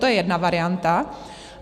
To je jedna varianta.